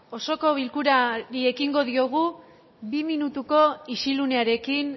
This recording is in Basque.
osoko bilkurari ekingo diogu bi minutuko isilunearekin